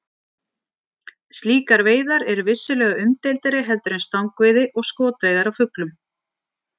Slíkar veiðar eru vissulega umdeildari heldur en stangveiði og skotveiðar á fuglum.